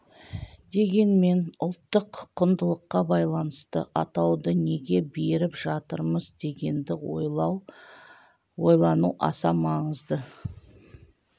дегенмен ұлттық құндылыққа байланысты атауды неге беріп жатырмыз дегенді ойлау ойлану аса маңызды